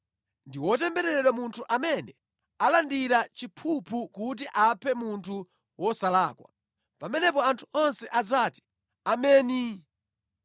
“Ndi wotembereredwa munthu amene alandira chiphuphu kuti aphe munthu wosalakwa.” Pamenepo anthu onse adzati, “Ameni!”